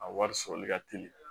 A wari sɔrɔli ka teli